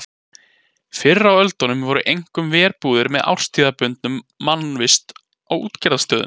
Fyrr á öldum voru einkum verbúðir með árstíðabundinni mannvist á útgerðarstöðum.